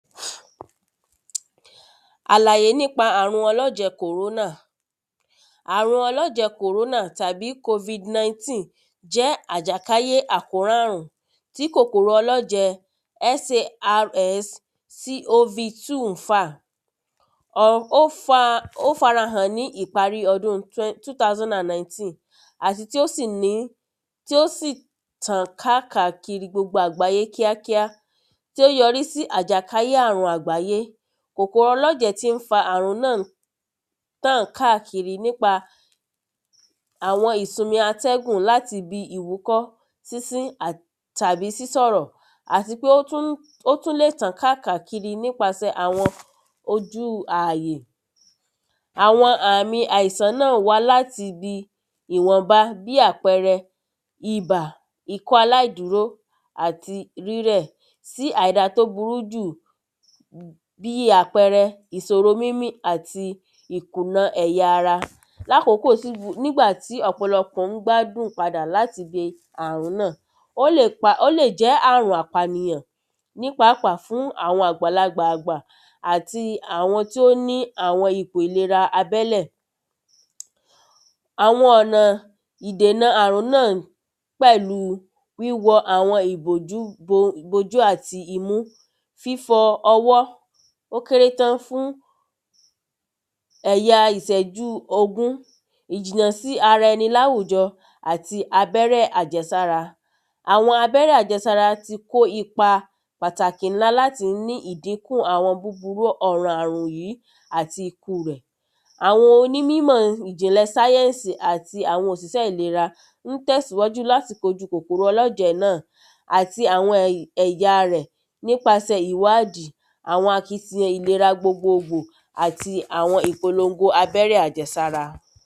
Àlàyẽ nĩpa àrun ọlọ́jẹ́ kòrónà. Àrun ọlọ́jẹ́ kòrónà tàbí kofid nineteen jẹ́ àjàkáyé àjàkálé àrùn tí kòkòrò ọlọ́jẹ̀ sarscov two ń fà. ọ ó fa ó farahàn ní ìparí ọdún two thousand and nineteen àti tí ó sì ní tí ó sì tàn kákàkiri gbogbo àgbàyé kíákíá tí ó yọrí sí àjàkáyé àrùn gbogbo àgbáyé. Kòkòrò ọlọ́jẹ̀ tí ń fa àrùn náà tàn kákìri nípa àwọn ìsunmi atẹ́gùn láti bí ìwúkọ́ sínsín àti tàbí sísọ̀rọ̀ àtipé ó tún lè tàn kákà kiri nípasẹ ojú ààyè. Àwọn àmi àìsàn náà wá láti ibi ìwọnba bí àpẹrẹ ibà ikọ́ aláàdúró tí àìda tó burú jù bí àpẹrẹ ìsoro mímí àti ìkùna ẹ̀yà ara. Láàkókò tí nígbàtí ọ̀pọ̀lọpọ̀ ń gbádun padà láti le àrùn náà ó lè jẹ́ ó lè jẹ́ àrùn àpànìyàn nípàápàá fún àwọn àgbàlagbà àgbà àti àwọn tí ó ní àwọn ìpò ìlera abẹ́lẹ̀. Àwọn ọ̀nà ìdènà àrùn náà pẹ̀lú wíwọ àwọn ìbòjú bo bo ojú àti imú fifọ ọwọ́ ó kéré tán fún èya ìṣẹ́jú ogún. Ìjìnà sí ara ẹni láwùjọ àti abẹ́rẹ́ àjẹsára. Àwọn abẹ́rẹ́ àjẹsára ti kó ipa pàtàkì ńlá láti ní ìdínkù àwọn búburú ọ̀nà àrùn yìí àti ikú rẹ̀. Àwọn onímímọ̀ ìjìnlẹ̀ sáyẹ́nsì àti òṣìṣẹ́ ìlera ń tẹ̀síwájú láti kojú kòkòrò ọlọ́jẹ̀ náà àti àwọn ẹ̀yà ẹ̀yà rẹ̀ nípasẹ̀ ìwádìí àwọn akitiyan ìlera gbogbo gbo àti àwọn ìpolongo abẹ́rẹ́ àjẹsára.